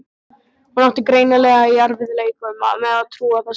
Hún átti greinilega í erfiðleikum með að trúa þessu.